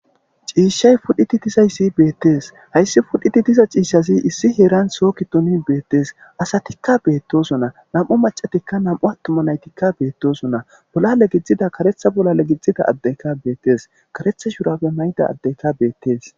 ciishshay pudhiti tizayssi beettees hayssi fudhiti diza ciishazi issi heeran soo kitonin beettees asatikka beettosona nam7o macatikka nam7u attoma naytikka beettosona bolla legizdzida karetha bolla legidzida addeyka beettees karetha shurapfe mayda addeyka beettees